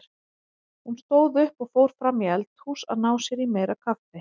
Hún stóð upp og fór fram í eldhús að ná sér í meira kaffi.